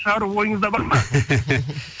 шығару ойыңызда бар ма